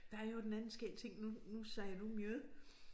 Der er i øvrigt en anden skæg ting nu nu siger du mjød